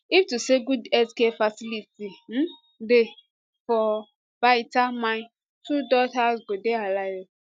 if to say good healthcare facility um dey for baita my two daughters go dey alive